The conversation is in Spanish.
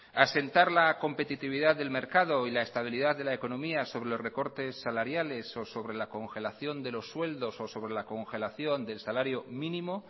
asentar la competitividad del mercado y la estabilidad de la economía sobre los recortes salariales o sobre la congelación de los sueltos o sobre la congelación del salario mínimo